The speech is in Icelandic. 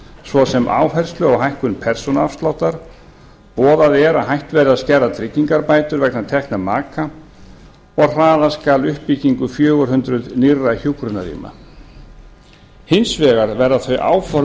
svo sem áherslu á hækkun persónuafsláttar boðað er að hætt verði að skerða tryggingabætur vegna tekna maka og að hraða skal uppbyggingu fjögur hundruð nýrra hjúkrunarrýma hins vegar verða þau áform